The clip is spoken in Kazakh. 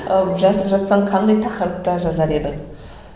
ал жазып жатсаң қандай тақырыпта жазар едің